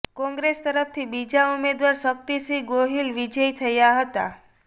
કોંગ્રેસ તરફથી બીજા ઉમેદવાર શક્તિસિંહ ગોહિલ વિજયી થયા હતા